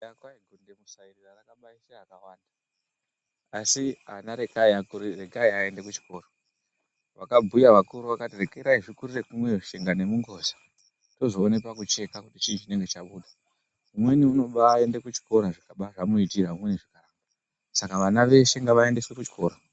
Kwai kundamusarira rakabaisa vana wani. wakabhuya wakati regai zvikurire kumweyo tsvina nemungoza tozoone pakuvheka kuti chinenge chabuda umweni unobaenda kuchikora zvikaba zvamuitira umweni zvikaramba Saka vana veshe ngavaendeswe kuchikora.